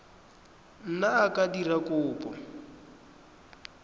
ngwana a ka dira kopo